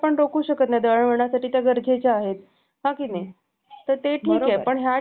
अं उक~ आपल्या रोजचे जे पिकं असतात, भाजीपाला वगैरे तो पण लाऊ शकतो. त्यामुळं पण शेत~ शेतकऱ्यांना मदत होते. आणि जर शेतीमधूनच बघितलं तर आपण,